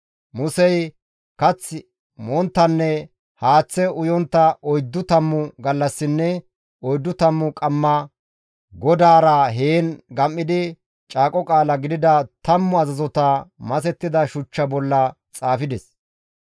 Musey kath monttanne haaththe uyontta oyddu tammu gallassinne oyddu tammu qamma GODAARA heen gam7idi caaqo qaala gidida tammu azazota masettida shuchcha bolla xaafides.